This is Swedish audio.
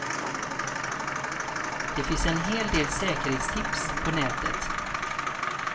Det finns en hel del säkerhetstips på nätet.